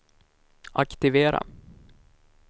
aktivera